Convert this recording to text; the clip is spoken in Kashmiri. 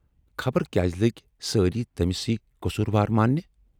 خبر کیازِ لٔگۍ سٲری تٔمۍ سٕے قصوٗروار ماننہِ۔